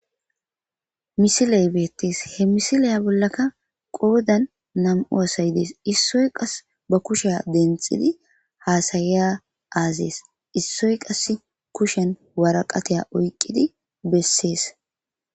Missiley bettes he missile bollaka qoddan nam'u asay dess issoy qassi ba kushsha denththidi hasiza azes issoy qase kushshen waaraqqata oyqqidi beses.